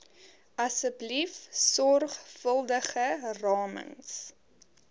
asseblief sorgvuldige ramings